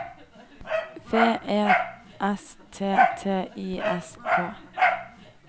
V E S T T Y S K